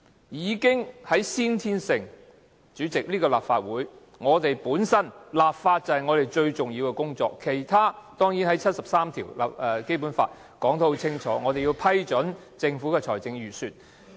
已經在先天上——主席，這個立法會，立法本身就是我們最重要的工作，而其他工作，當然在《基本法》第七十三條清楚說明，我們要批准政府的財政預算。